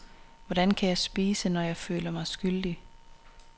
Hvordan kan jeg spise, når jeg føler mig skyldig.